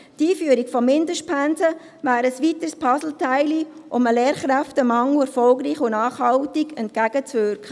Die Einführung von Mindestpensen wäre ein weiteres Puzzleteil, um dem Lehrkräftemangel erfolgreich und nachhaltig entgegenzuwirken.